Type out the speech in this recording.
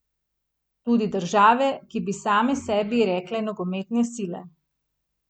Tudi države, ki bi same sebi rekle nogometne sile.